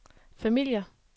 familier